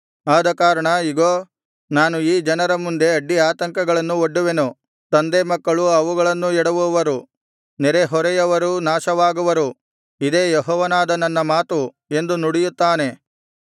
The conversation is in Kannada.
ಆದಕಾರಣ ಇಗೋ ನಾನು ಈ ಜನರ ಮುಂದೆ ಅಡ್ಡಿಆತಂಕಗಳನ್ನು ಒಡ್ಡುವೆನು ತಂದೆ ಮಕ್ಕಳು ಅವುಗಳನ್ನೂ ಎಡವುವರು ನೆರೆಹೊರೆಯವರೂ ನಾಶವಾಗುವರು ಇದೇ ಯೆಹೋವನಾದ ನನ್ನ ಮಾತು ಎಂದು ನುಡಿಯುತ್ತಾನೆ